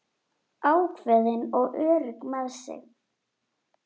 Ákveðin og örugg með sig.